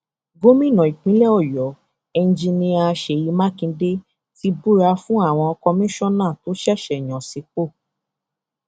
gómìnà ìpínlẹ ọyọ enjinnnia ṣèyí mákindé ti búra fún àwọn kọmíṣánná tó ṣẹṣẹ yàn sípò